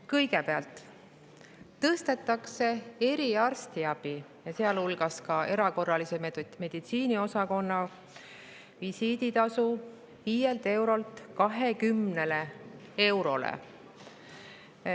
Kõigepealt tõstetakse eriarstiabi, sealhulgas ka erakorralise meditsiini osakonna visiiditasu 5 eurolt 20 eurole.